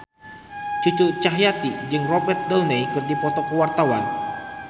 Cucu Cahyati jeung Robert Downey keur dipoto ku wartawan